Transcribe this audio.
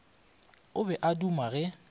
o be a duma ge